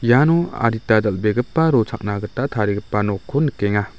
iano adita dal·begipa rochakna gita tarigipa nokko nikenga.